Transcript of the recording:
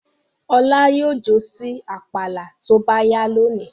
Ọlá yóò jó sí àpàlà tó bá yá lónìí.